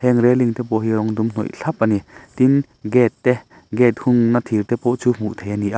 heng railing te pawh hi rawng dum hnawih thlap a ni tin gate te gate hungna thir te pawh chu hmuh theih a ni a.